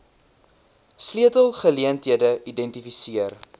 sleutel geleenthede identifiseer